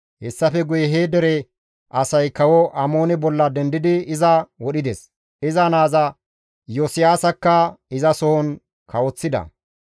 Hessafe guye he dere asay kawo Amoone bolla dendidi iza wodhides; iza naaza Iyosiyaasakka izasohon kawoththida.